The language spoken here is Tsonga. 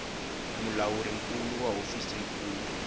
mulawuri nkulu wa hofisi nkulu